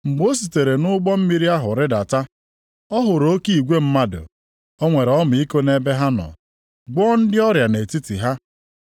Mgbe o sitere nʼụgbọ mmiri ahụ rịdata, ọ hụrụ oke igwe mmadụ. O nwere ọmịiko nʼebe ha nọ, gwọọ ndị ọrịa nʼetiti ha.